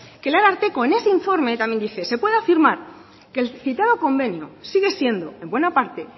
que el ararteko en ese informe también dice se puede afirmar que el citado convenio sigue siendo en buena parte